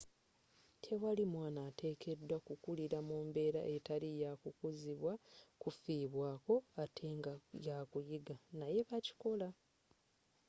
tewali mwaana ateekedwa kukulira mu mbeera etali ya kukuzibwa kufibwaako, ate nga yakuyiga naye bakikola